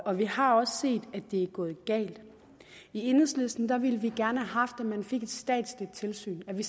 og vi har også set at det er gået galt i enhedslisten ville vi gerne have haft at man fik et statsligt tilsyn at vi